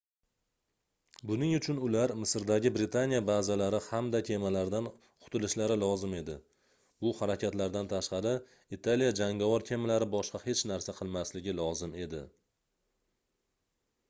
buning uchun ular misrdagi britaniya bazalari hamda kemalaridan qutilishlari lozim edi bu harakatlardan tashqari italiya jangovar kemalari boshqa hech narsa qilmasligi lozim edi